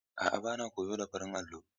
A'a bana koyo da farin allo.